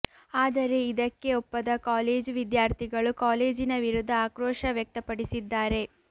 ಆದರೆ ಇದಕ್ಕೆ ಒಪ್ಪದ ಕಾಲೇಜು ವಿದ್ಯಾರ್ಥಿಗಳು ಕಾಲೇಜಿನ ವಿರುದ್ಧ ಆಕ್ರೋಶ ವ್ಯಕ್ತಪಡಿಸಿದ್ದಾರೆ